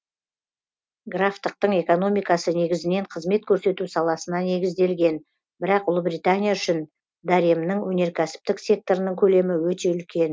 графтықтың экономикасы негізінен қызмет көрсету саласына негізделген бірақ ұлыбритания үшін даремнің өнеркәсіптік секторының көлемі өте үлкен